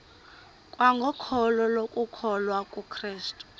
kwangokholo lokukholwa kukrestu